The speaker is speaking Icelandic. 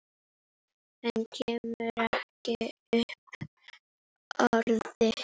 Hann kemur ekki upp orði.